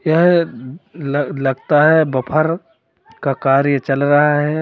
यह लगता है बफर का कार्य चल रहा है।